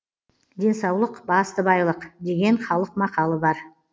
денсаулық басты байлық деген халық мақалы бар